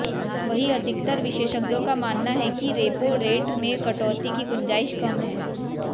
वहीं अधिकतर विशेषज्ञों का मानना है कि रेपो रेट में कटौती की गुंजाइश कम है